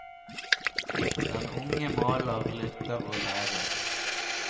Den unge maler, lytter og lærer.